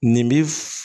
Nin bi